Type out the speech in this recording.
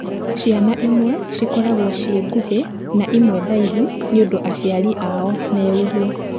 Ciana imwe cikoragwo ci nguhĩ na imwe ndaihu nĩũndũ aciari ao me ũguo.